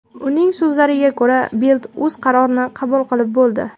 Uning so‘zlariga ko‘ra, Bild o‘z qarorini qabul qilib bo‘ldi.